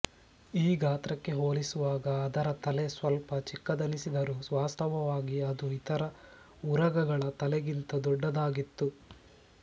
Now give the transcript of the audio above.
ಈ ಗಾತ್ರಕ್ಕೆ ಹೋಲಿಸುವಾಗ ಅದರ ತಲೆ ಸ್ವಲ್ಪ ಚಿಕ್ಕದೆನಿಸಿದರೂ ವಾಸ್ತವವಾಗಿ ಅದು ಇತರ ಉರಗಗಳ ತಲೆಗಿಂತ ದೊಡ್ಡದಾಗಿತ್ತು